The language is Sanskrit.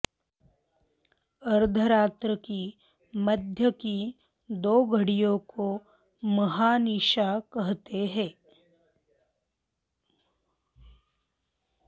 अर्धरात्र की मध्य की दो घड़ियों को महानिशा कहते हैं